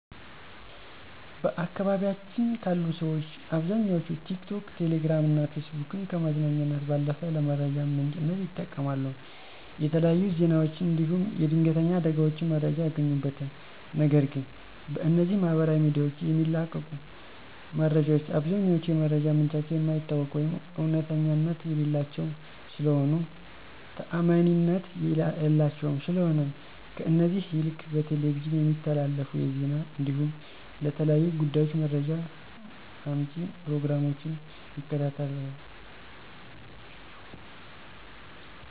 በአካባቢያችን ካሉ ሠዎች አብዛኛዎቹ ቲክቶክ፣ ቴሌግራም እና ፌስቡክን ከመዝናኛነት ባለፉ ለመረጃ ምንጭነት ይጠቀማሉ። የተለያዩ ዜናዎችን እንዲሁም የድንተኛ አደጋዎችን መረጃ ያገኙበታል፤ ነገር ግን በእነዚህ ማህበራዊ ሚዲያዎች የሚለቀቁ መረጃዎች አብዛኛዎቹ የመረጃ ምንጫቸው የማይታወቅ ወይም እውነተኛነት የሌላቸው ስለሆኑ ታዓማኒነት የላቸውም፤ ስለሆነም ከእነዚህ ይልቅ በቴሌቪዥን የሚተላለፉ የዜና እንዲሁም ለተለያዩ ጉዳዮች መረጃ መጪ ፕሮግራሞችን ይከታተላሉ።